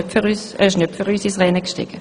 Er ist nicht für uns ins Rennen gestiegen.